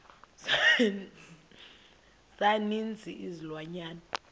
za ninzi izilwanyana